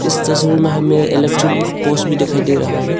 इस तस्वीर में हमें इलेक्ट्रिक पोल्स भी दिखाई दे रहा है।